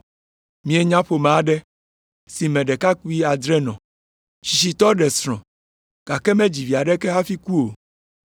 Míenya ƒome aɖe, si me ɖekakpui adre nɔ. Tsitsitɔ ɖe srɔ̃, gake medzi vi aɖeke hafi ku o.